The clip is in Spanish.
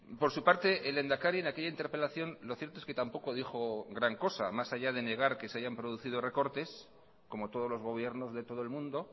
por su parte el lehendakari en aquella interpelación lo cierto es que tampoco dijo gran cosa más allá de negar que se hayan producido recortes como todos los gobiernos de todo el mundo